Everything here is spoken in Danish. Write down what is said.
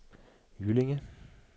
Jyllinge